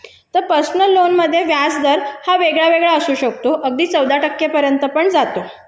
तर personal loan मध्ये व्याजदर हा वेगळा असू शकतो अगदी चौदा टक्क्यापर्यंत पण जातो